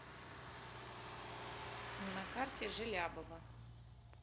на карте желябова